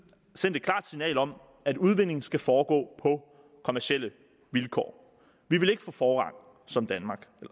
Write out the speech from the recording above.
sendt et klart signal om at udvindingen skal foregå på kommercielle vilkår vi vil ikke få forrang som